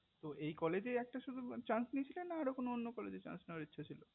এই college এই একটা শুধু chance নিয়েছিলে না আরো কোনো অন্য college এ chance নিয়ার ইচ্ছা ছিল